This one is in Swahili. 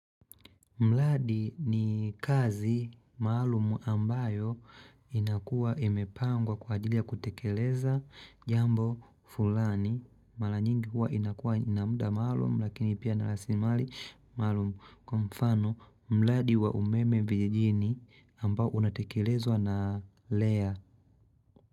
Mladi ni kazi maalum ambayo inakua imepangwa kwa ajili ya kutekeleza jambo fulani. Mala nyingi huwa inakua inamuda maalum lakini pia narasilimali maalum. Kwa mfano, mladi wa umeme vijijini ambao unatekelezwa na lea.